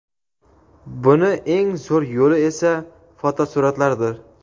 Buni eng zo‘r yo‘li esa - fotosur’atlardir.